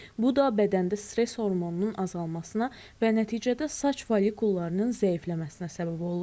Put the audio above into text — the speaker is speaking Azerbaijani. Bu da bədəndə stress hormonunun azalmasına və nəticədə saç follikullarının zəifləməsinə səbəb olur.